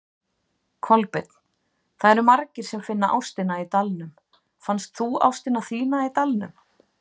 Kolbeinn: Það eru margir sem finna ástina í Dalnum, fannst þú ástina þína í Dalnum?